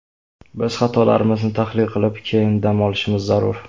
Biz xatolarimizni tahlil qilib, keyin dam olishimiz zarur.